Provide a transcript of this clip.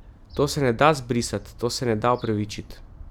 To se ne da zbrisat, to se ne da opravičit.